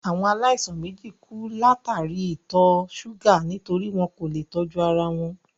Àwọn aláìsàn méjì kú látàríi ìtọ̀ ṣúgà nítorí wọn kò leè tọ́jú ara wọn